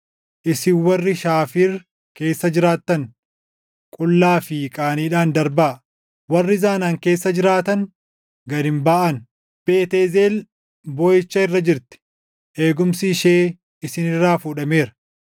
Isin warri Shaafiir keessa jiraattan, qullaa fi qaaniidhaan darbaa. Warri Zanaan keessa jiraatan, gad hin baʼan. Beet Eezel booʼicha irra jirti; eegumsi ishee isin irraa fuudhameera.